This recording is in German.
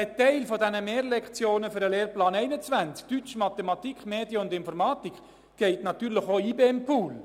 Ein Teil der Mehrlektionen für den Lehrplan 21 – Deutsch, Mathematik, Medien und Informatik – gehen natürlich auch in den IBEM-Pool.